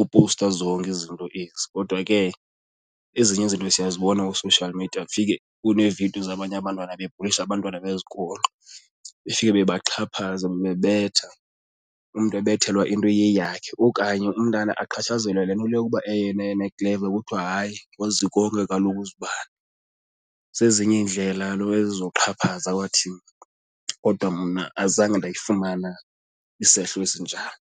opowusta zonke izinto ezi kodwa ke ezinye izinto siyazibona kwi-social media kufike kunee-video zabanye abantwana bebhulisha abantwana bezikolo, befike bebaxhaphaza bebabetha umntu ebethelwa into eyeyakho okanye umntana axhatshazelwe le nto yokuba eyena yena ekleva kuthiwa hayi wazi konke kaloku uzibani. Zezinye iindlela kaloku ezo zokuxhaphaza kwathini, kodwa mna azange ndayifumana isehlo esinjalo.